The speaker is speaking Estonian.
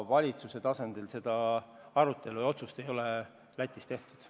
Valitsuse tasandil seda otsust ei ole Lätis tehtud.